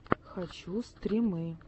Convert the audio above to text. хочу стримы